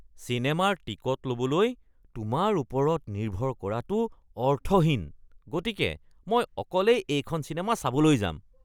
চিনেমাৰ টিকট ল'বলৈ তোমাৰ ওপৰত নিৰ্ভৰ কৰাটো অৰ্থহীন, গতিকে মই অকলেই এইখন চিনেমা চাবলৈ যাম।